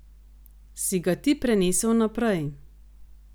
Si ga ti prenesel naprej?